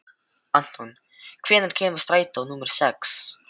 Anton, hvenær kemur strætó númer sex?